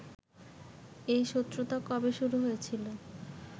এ শত্রুতা কবে শুরু হয়েছিল